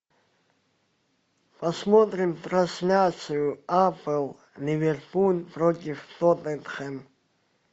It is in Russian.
посмотрим трансляцию апл ливерпуль против тоттенхэм